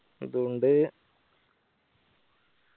അതോണ്ട്